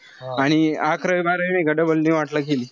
आणि अकरावी-बारावी नाई का double ला केली.